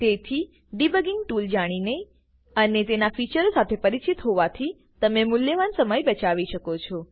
તેથી debugging tool જાણીને અને તેના ફીચરો સાથે પરિચિત હોવાથી તમે મૂલ્યવાન સમય બચાવી શકો છો